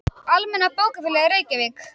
Almenna bókafélagið, Reykjavík.